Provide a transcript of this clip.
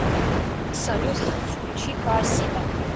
салют включи хаосита